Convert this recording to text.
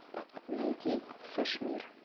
найди сашмир